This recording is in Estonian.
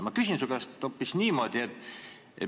Ma küsin su käest hoopis niimoodi.